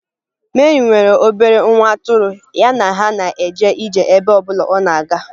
Meri nwere obere nwa atụrụ, ya na ha na-eje ije n'ebe ọ bụla ọ na-aga